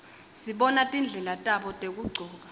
sibona tindlela tabo tekugcoka